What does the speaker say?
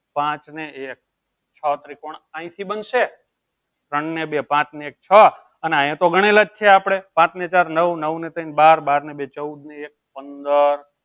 પાંચ ને એક છ ત્રિકોણ અહીંથી બનશે ત્રોણ ને બે પાચ ને એક છ અને અહિયાં તો ગણેલ જ છે. આપડે પાંચ ને ચાર નવ, નવ ને ત્રણ બાર, બાર ને બે ચૌદ ને એક પંદર.